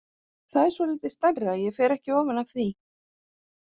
Það er svolítið stærra, ég fer ekki ofan af því!